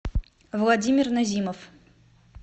владимир назимов